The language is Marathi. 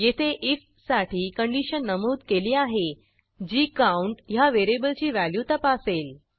येथे आयएफ साठी कंडिशन नमूद केली आहे जी काउंट ह्या व्हेरिएबलची व्हॅल्यू तपासेल